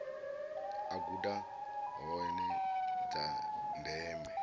a guda hoea dza ndeme